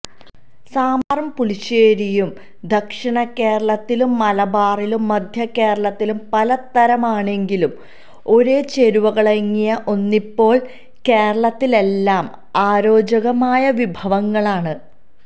സമ്പാറും പുളിശ്ശേരിയും ദക്ഷിണ കേരളത്തിലും മലബാറിലും മധ്യകേരളത്തിലും പലതരമാണെങ്കിലും ഒരേ ചേരുവകളങ്ങിയ ഒന്നിപ്പോള് കേരളത്തിലെല്ലാം അരോചകമായ വിഭവങ്ങളാണ്